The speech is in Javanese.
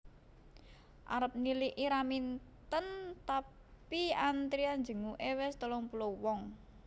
Arep niliki Raminten tapi antrian jenguke wis telung puluh wong